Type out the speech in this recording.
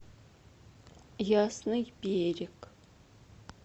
ясный берег